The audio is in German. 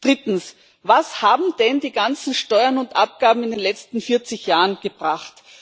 Drittens Was haben denn die ganzen Steuern und Abgaben in den letzten 40 Jahren gebracht?